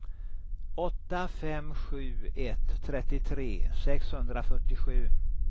åtta fem sju ett trettiotre sexhundrafyrtiosju